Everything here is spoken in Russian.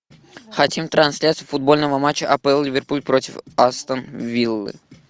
хотим трансляцию футбольного матча апл ливерпуль против астон виллы